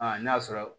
Aa n'a sɔrɔ